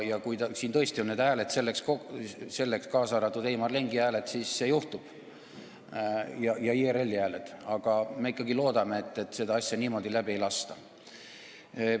Ja kui siin tõesti on selleks olemas hääled, kaasa arvatud Heimar Lengi hääl ja IRL-i hääled, siis see juhtub, aga me ikkagi loodame, et seda asja niimoodi läbi ei lasta.